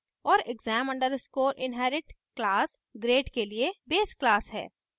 और exam _ inherit class grade के लिए base class है